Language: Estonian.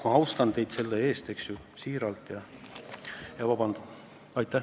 Ma austan teid selle eest siiralt ja palun vabandust.